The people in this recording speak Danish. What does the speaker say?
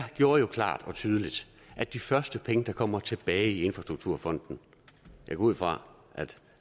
jo klart og tydeligt at de første penge der kommer tilbage i infrastrukturfonden jeg går ud fra